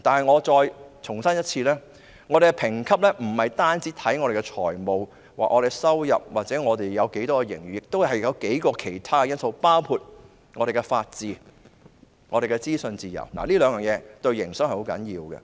我再重申，本港的評級不單視乎本港的財務狀況、收入或有多少盈餘，亦須視乎其他數項因素，包括本港的法治和資訊自由，這兩點對營商是十分重要的。